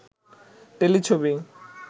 টেলিছবি